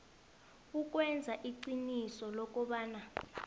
ukwenza iqiniso lokobana